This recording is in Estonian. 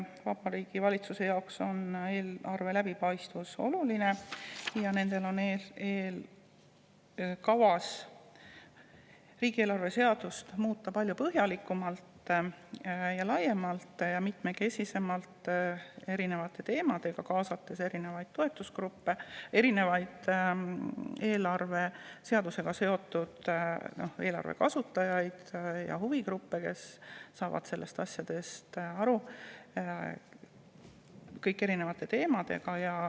Valitsuse jaoks on eelarve läbipaistvus oluline ja neil on kavas riigieelarve seadust muuta palju põhjalikumalt, laiemalt ja mitmekesisemalt, erinevate teemade kaupa, kaasates erinevaid toetusgruppe, eelarve kasutajaid ja huvigruppe, kes saavad nendest asjadest aru.